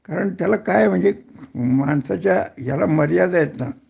कारण त्याला काय म्हणजे माणसाच्या याला मर्यादा आहेत ना